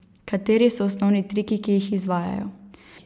Kateri so osnovni triki, ki jih izvajajo?